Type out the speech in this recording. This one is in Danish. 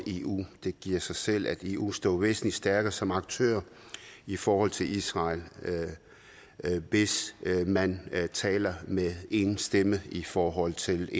eu det giver sig selv at eu står væsentlig stærkere som aktør i forhold til israel hvis man taler med én stemme i forhold til